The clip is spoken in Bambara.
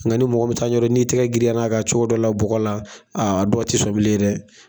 Ŋa ni mɔgɔ min t'a ɲɛdɔn n'i tɛgɛ girinyar'a kan cogo dɔ la bɔgɔ la a dɔw te sɔn bilen dɛ.